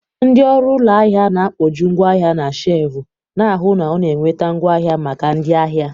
Ndị ọrụ ụlọ ahịa na-akpojuu ngwaahia na shelvu, na-ahụ na ọ na-enweta ngwaahịa maka ndị ahịa.